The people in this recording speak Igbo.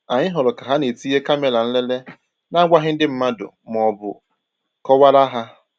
Anyị hụrụ ka ha na-etinye kàmèrà nlele na-agwaghị ndị mmad maọbụ kọwaara ha